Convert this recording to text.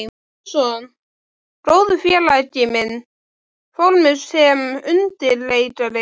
Finnsson, góður félagi minn, fór með sem undirleikari.